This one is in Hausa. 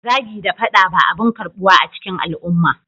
Zagi da fada ba abin karbuwa a cikin al'umma